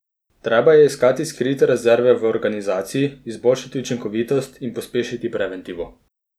Treba je iskati skrite rezerve v organizaciji, izboljševati učinkovitost in pospeševati preventivo.